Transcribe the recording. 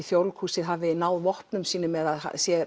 Þjóðleikhúsið hafi náð vopnum sínum eða